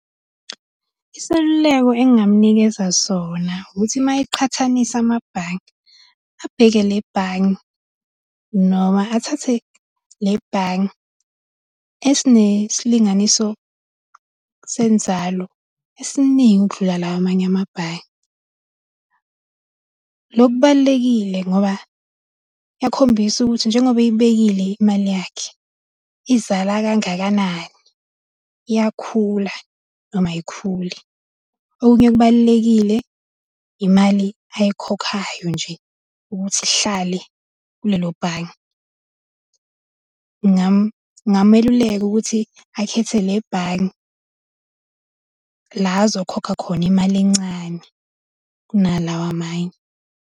Iseluleko engamunikeza sona ukuthi ma eqhathanisa amabhange, abheke le bhange noma athathe le bhange esinesilinganiso senzalo esiningi ukudlula lawa amanye amabhange. Lokubalulekile ngoba kuyakhombisa ukuthi njengoba eyibekile imali yakhe izala kangakanani, iyakhula noma ayikhuli. Okunye okubalulekile imali ayikhokhayo nje ukuthi ihlale kulelo bhange. Ngameluleka ukuthi akhethe le bhange la azokhokha khona imali encane kunalawa amanye.